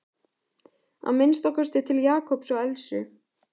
Að minnsta kosti til Jakobs og Elsu.